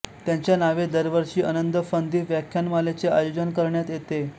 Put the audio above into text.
त्यांच्या नावे दरवर्षी अनंत फंदी व्याख्यानमालेचे आयोजन करण्यात येते